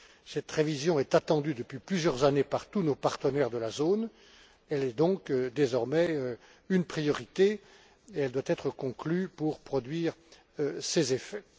Cette révision est attendue depuis plusieurs années par tous nos partenaires de la zone, elle est donc désormais une priorité et elle doit être conclue pour produire ses effets.